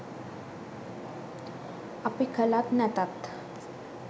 අපි කලත් නැතත්